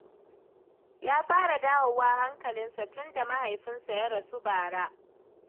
Ya fara dawowa hankalinsa tun da mahaifinsa ya rasu bara